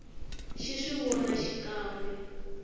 xi swi vona xikan we